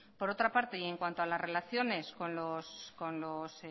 por otra parte y en cuanto a las relaciones con los